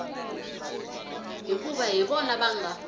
hikuva hi vona va nga